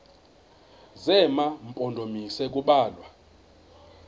zema mpondomise kubalwa